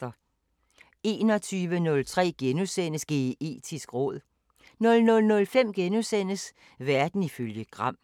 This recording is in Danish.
21:03: Geetisk råd * 00:05: Verden ifølge Gram *